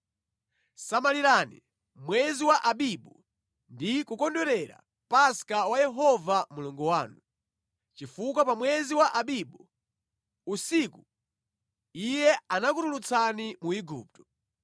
Samalirani mwezi wa Abibu ndi kukondwerera Paska wa Yehova Mulungu wanu, chifukwa pa mwezi wa Abibu, usiku, Iye anakutulutsani mu Igupto.